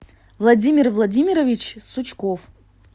владимир владимирович сучков